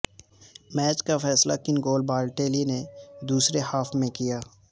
match کا فیصلہ کن گول بالاٹیلی نے دوسرے ہاف میں کیا